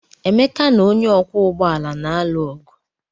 Emeka na onye ọkwọ ụgbọala na-alụ ọgụ.